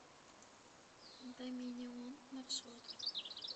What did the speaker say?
доминион маршрут